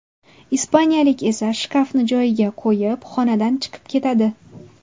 Ispaniyalik esa shkafni joyiga qo‘yib, xonadan chiqib ketadi.